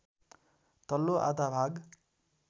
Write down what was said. तल्लो आधा भाग